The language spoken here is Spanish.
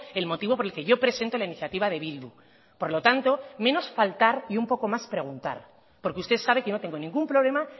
el motivo por el que yo presento la iniciativa de bildu por lo tanto menos faltar y un poco más preguntar porque usted sabe que no tengo ningún problema